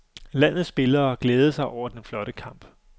Landets spillere glædede sig over den flotte kamp.